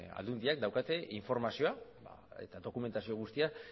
aldundiak daukate informazioa eta dokumentazio guztia